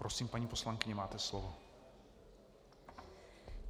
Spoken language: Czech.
Prosím, paní poslankyně, máte slovo.